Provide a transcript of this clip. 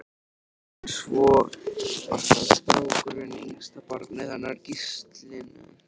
En svo var það strákurinn, yngsta barnið hennar Gíslínu.